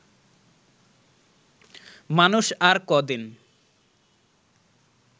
মানুষ আর কদিন